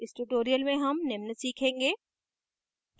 इस tutorial में हम निम्न सीखेंगे